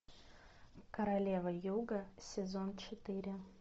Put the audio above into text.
королева юга сезон четыре